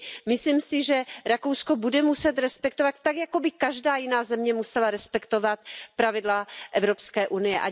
Myslím si, že Rakousko bude muset respektovat, tak jako by každá jiná země musela respektovat, pravidla Evropské unie.